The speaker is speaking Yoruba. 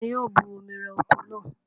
Ta ni yóò bu omi rẹ oko náà?